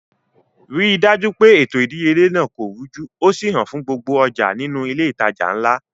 Ri dájú pé ètò ìdíyelé náà kò rújú ó sì hàn fún gbogbo ọjà nínú ilé ìtajà ńlá